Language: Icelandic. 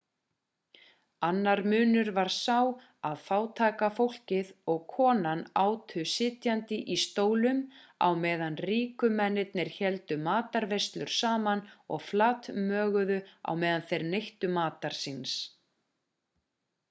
annar munur var sá að fátæka fólkið og konan átu sitjandi í stólum á meðan ríku mennirnir héldu matarveislur saman og flatmöguðu á meðan þeir neyttu matar síns